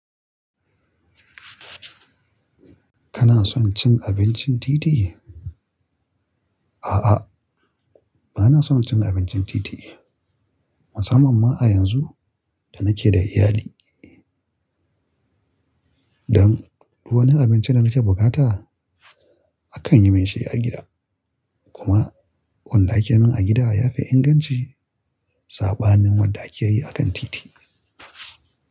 Kana son cin abincin titi? A'a, ba na son cin abincin titi, musamman ma a yanzu da nake da iyali. Don ko wane abinci da nake bukata, akan yimin shi a gida. Kuma wanda ake min a gida ya fi inganci saɓanin wadda ake yi a kan titi.